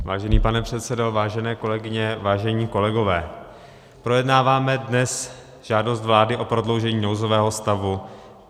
Vážený pane předsedo, vážené kolegyně, vážení kolegové, projednáváme dnes žádost vlády o prodloužení nouzového stavu.